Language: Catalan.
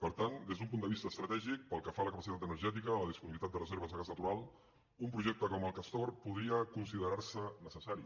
per tant des d’un punt de vista estratègic pel que fa a la capacitat energètica a la disponibilitat de reserves de gas natural un projecte com el castor podria consi·derar·se necessari